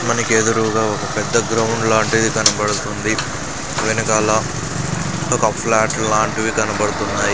మనకి ఎదురూగా ఒక పెద్ద గ్రౌండ్ లాంటిది కనబడుతుంది వెనకాల ఒక ఫ్లాట్ లాంటివి కనబడుతున్నాయ్.